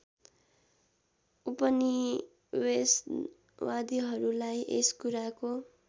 उपनिवेशवादीहरूलाई यस कुराको